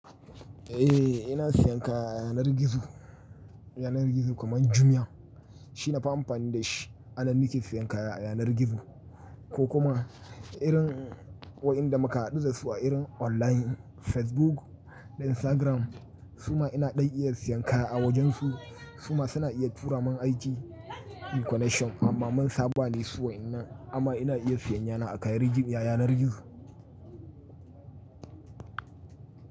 Eh ina siyan kaya a yanar gizo, yanar gizo kamar Jumia shine nafi amfani dinshi anan nake siyan kaya a yanar gizo ko kuma irin waɗanda muka haɗu dasu a irin online Facebook da Instagram suma ina ɗan iya siyan kaya a wajen su suma suna iya turamun aiki inyi connection amma mun saba dasu waƴannan amma ina iya siyayana a kan-- yanar gizo.